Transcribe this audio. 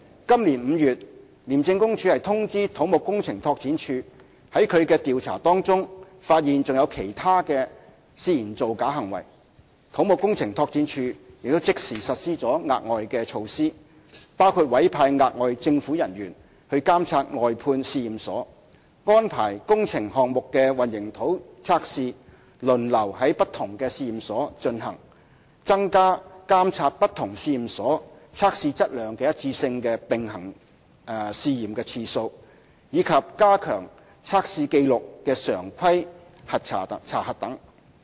今年5月廉署通知土木工程拓展署在其調查中發現有其他涉嫌造假行為，土木工程拓展署即時實施了額外措施，包括委派額外政府人員監察外判試驗所、安排工程項目的混凝土測試輪流在不同試驗所進行、增加監察不同試驗所測試質量一致性的"並行試驗"次數，以及加強測試紀錄的常規查核等。